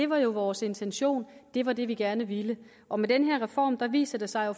var vores intention det var det vi gerne ville og med den her reform viser det sig jo